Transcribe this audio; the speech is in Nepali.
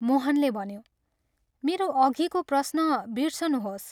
मोहनले भन्यो, " मेरो अधिको प्रश्न बिर्सनुहोस्।